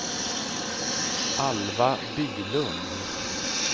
Alva Bylund